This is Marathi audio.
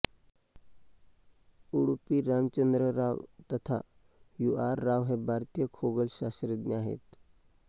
उडुपी रामचंद्र राव तथा यू आर राव हे भारतीय खगोलशास्त्रज्ञ आहेत